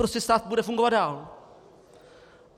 Prostě stát bude fungovat dál.